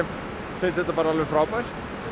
finnst þetta alveg frábært